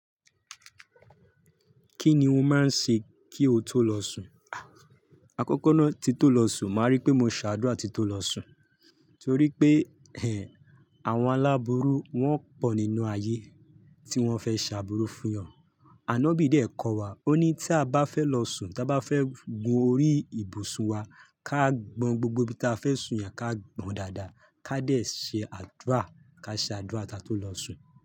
Kíni o máa ń ṣe kí o tó lọ sùn? Àkọ́kọ́ náà tí tó lọ sùn, màá rí pé mo ṣàdúrà tí tó lọ sùn, torí pé ẹh, àwọn aláburú wọ́n pọ̀ nínú ayé tí wọ́n fẹ́ ṣàbùrù fún yàn. Àná bíi dé kọ́ wa, ó ní tí a bá fẹ́ lọ sùn, tí a bá fẹ́ gun orí ìbùsùn wa, ká gbọn gbogbo ibi tí a fẹ́ sùn yẹn ká gbọn dáadáa, ká dé ṣe àdúrà, ká ṣe àdúrà tí a tó lọ sùn.